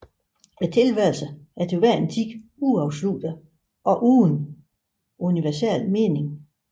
Tilværelsen er til hver en tid uafsluttet og uden universel mening